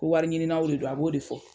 Ko wari ɲininaw de don. A b'o de fɔ.